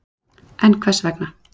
En hvers vegna.